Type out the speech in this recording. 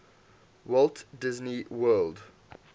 walt disney world